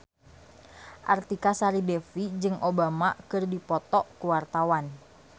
Artika Sari Devi jeung Obama keur dipoto ku wartawan